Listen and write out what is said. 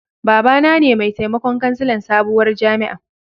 Baba na ne mai taimakon kansilan sabuwar jami'an.